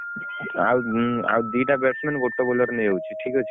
ଆଉ ଉଁ ଆଉ ଦିଟା batsman ଗୋଟେ bowler ନେଇଯାଉଛି ଠିକ୍ ଅଛି।